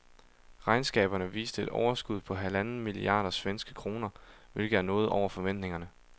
Regnskaberne viste et overskud på halvanden milliarder svenske kroner, hvilket er noget over forventningerne.